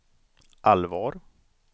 allvar